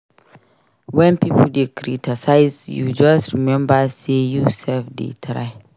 Wen pipo dey criticize you just remember sey you self dey try.